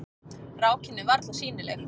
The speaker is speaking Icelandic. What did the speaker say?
Rákin er varla sýnileg.